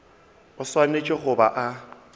o swanetše go ba a